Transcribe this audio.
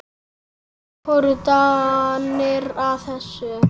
Hvernig fóru Danir að þessu?